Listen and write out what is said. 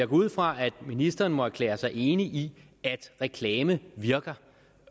ud fra at ministeren må erklære sig enig i at reklame virker